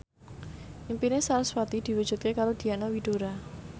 impine sarasvati diwujudke karo Diana Widoera